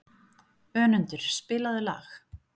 Önundur, spilaðu lag.